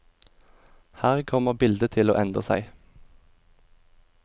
Her kommer bildet til å endre seg.